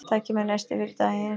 Takið með nesti fyrir daginn.